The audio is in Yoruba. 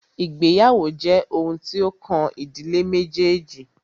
Ìgbéyàwó jẹ́ oun tí o kàn ìdílé méjèèjì.